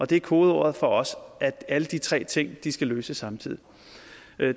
det er kodeordet for os at alle de tre ting skal løses samtidig